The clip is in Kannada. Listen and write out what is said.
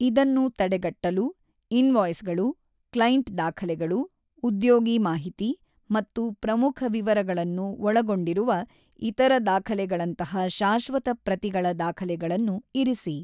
ಇದನ್ನು ತಡೆಗಟ್ಟಲು, ಇನ್‌ವಾಯ್ಸ್‌ಗಳು, ಕ್ಲೈಂಟ್ ದಾಖಲೆಗಳು, ಉದ್ಯೋಗಿ ಮಾಹಿತಿ ಮತ್ತು ಪ್ರಮುಖ ವಿವರಗಳನ್ನು ಒಳಗೊಂಡಿರುವ ಇತರ ದಾಖಲೆಗಳಂತಹ ಶಾಶ್ವತ ಪ್ರತಿಗಳ ದಾಖಲೆಗಳನ್ನು ಇರಿಸಿ.